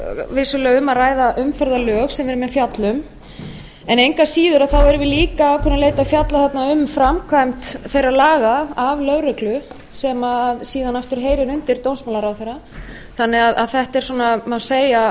vissulega um að ræða umferðarlög sem við erum fjalla um en engu að síður erum við líka að ákveðnu leyti að fjalla þarna um framkvæmd þeirra laga af lögreglu sem síðan aftur heyrir undir dómsmálaráðherra þannig að þetta er svona má segja er